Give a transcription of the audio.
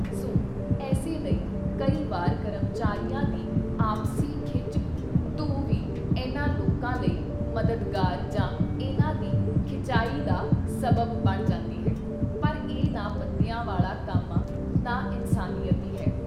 ਸੋ ਏਸੇ ਲਈ ਕਈ ਵਾਰ ਕਰਮਚਾਰੀਆਂ ਦੀ ਆਪਸੀ ਖਿੱਚ ਧੂਹ ਵੀ ਇਨ੍ਹਾਂ ਲੋਕਾਂ ਲਈ ਮਦਦਗਾਰ ਜਾਂ ਇਨ੍ਹਾਂ ਦੀ ਖਿਚਾਈ ਦਾ ਸਬੱਬ ਬਣ ਜਾਂਦੀ ਹੈ। ਪਰ ਇਹ ਨਾ ਬੰਦਿਆਂ ਵਾਲਾ ਕੰਮ ਆਂ, ਨਾ ਇਨਸਾਨੀਅਤ ਈ ਹੈ।